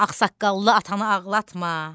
Ağsaqqallı atanı ağlatma.